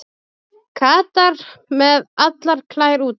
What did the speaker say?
Katar með allar klær úti